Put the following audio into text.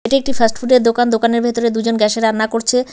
এটি একটি ফাস্টফুডের দোকান দোকানের ভেতরে দুজন গ্যাসে রান্না করছে।